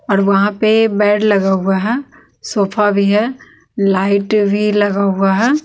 और वहां पे बेड लगा हुआ है सोफा भी है लाइट भी लगा हुआ है।